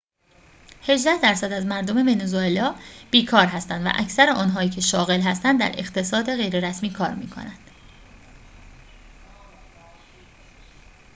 هجده درصد از مردم ونزوئلا بیکار هستند و اکثر آنهایی که شاغل هستند در اقتصاد غیررسمی کار می‌کنند